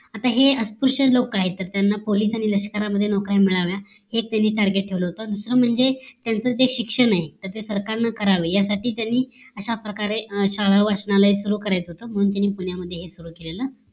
आता हे लष्कर लोक काय तर त्यांना पोलिसांमध्ये नोकरी मिळावा हे तेनी target ठेवलं होत मुख्य म्हणजे त्यांचं जे शिक्षण आहे त्याच सरकारनं करावं यासाठी त्यांनी अशाप्रकारे शाळा वाचनालय सुरु करायाच होत म्हणून त्यांनी पुण्यात हे सुरु केलं